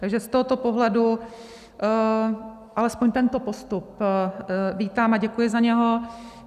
Takže z tohoto pohledu alespoň tento postup vítám a děkuji za něj.